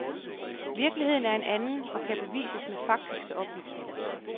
Virkeligheden er en anden, og kan bevises med faktiske oplysninger.